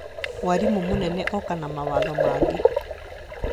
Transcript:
Mwarimũ mũnene oka na mawatho mangĩ